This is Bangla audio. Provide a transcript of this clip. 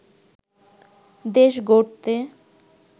দেশ গড়তে